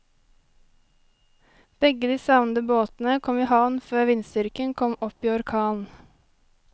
Begge de savnede båtene kom i havn før vindstyrken kom opp i orkan.